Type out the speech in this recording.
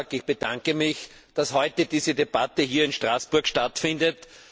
Ich bedanke mich, dass heute diese Debatte hier in Straßburg stattfindet.